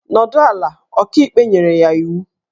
Nọdụ ala! Ọkaikpe nyere ya iwu